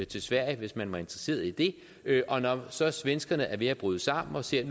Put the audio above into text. til sverige hvis man var interesseret i det og når så svenskerne siden er ved at bryde sammen og siger at